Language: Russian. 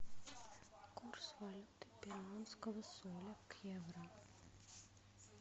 курс валюты перуанского соля к евро